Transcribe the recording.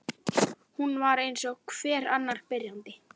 Hún var eins og hver annar byrjandi.